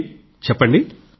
అఖిల్ చెప్పండి